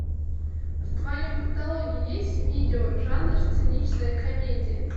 в твоем каталоге есть видео жанр циничная комедия